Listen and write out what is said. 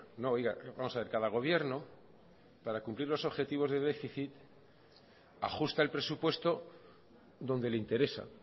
no oiga vamos a ver cada gobierno para cumplir los objetivos de déficit ajusta el presupuesto donde le interesa